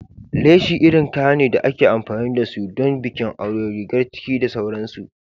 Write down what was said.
Leshi irin kaya ne da ake amfani da su don bikin aure, rigar ciki da sauransu.